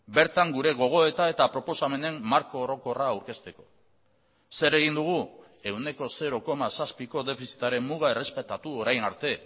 bertan gure gogoeta eta proposamenen marko orokorra aurkezteko zer egin dugu ehuneko zero koma zazpiko defizitaren muga errespetatu orain arte